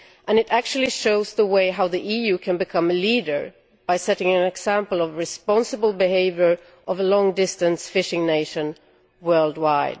It shows how the EU can become a leader by setting an example of responsible behaviour by a long distance fishing nation, worldwide.